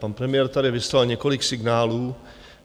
Pan premiér tady vyslal několik signálů.